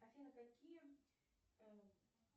афина какие